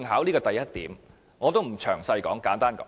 這是第一點，我不詳細講述了。